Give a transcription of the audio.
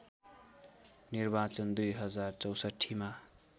निर्वाचन २०६४ मा